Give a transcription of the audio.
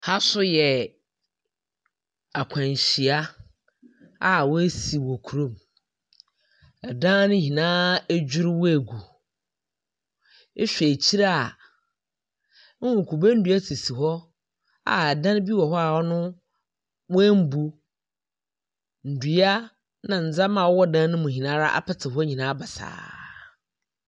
Ɛha nso yɛ akwanhyia a woasi wɔ krom. Ɛdan no nyinaa adwiriu agu. Ehw3 ɛhyire a wohu kube nnua sisi hɔ a ɛdan no bi wɔhɔ a ɔno w'anbu. Dua na nzeɛma a ɔwɔ dan nu nyinaa apite hɔ basaa.